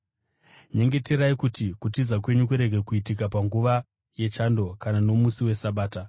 Nyengeterai kuti kutiza kwenyu kurege kuitika panguva yechando kana nomusi weSabata.